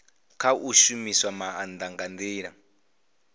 khou shumisa maanda nga ndila